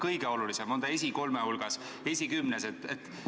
On see kõige olulisem, on see esimese kolme hulgas, esikümnes?